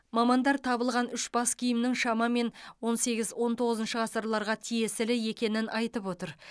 мамандар табылған үш бас киімнің шамамен он сегіз он тоғызыншы ғасырларға тиесілі екенін айтып отыр